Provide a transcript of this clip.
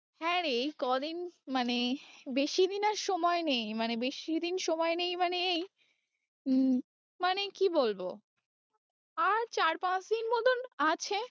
হ্যাঁ রে এই কদিন মানে বেশি দিন আর সময় নেই মানে বেশি দিন সময় নেই মানে এই হম মানে কি বলবো আর চার পাঁচ দিন মতন আছে